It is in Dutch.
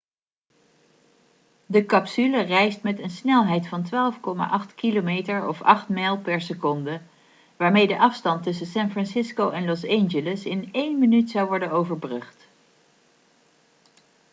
de capsule reist met een snelheid van 12,8 km of 8 mijl per seconde waarmee de afstand tussen san francisco en los angeles in één minuut zou worden overbrugd